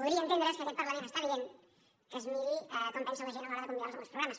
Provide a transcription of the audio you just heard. podria entendre’s que aquest parlament està dient que es miri com pensa la gent a l’hora de convidar los a alguns programes